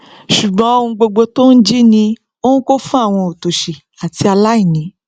ṣùngbọn gbogbo oun tí ó n jí ni ó n kó fún awọn otoṣi ati aláìní